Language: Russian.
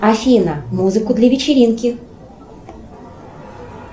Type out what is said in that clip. афина музыку для вечеринки